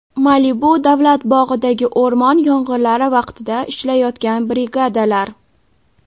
Malibu davlat bog‘idagi o‘rmon yong‘inlari vaqtida ishlayotgan brigadalar.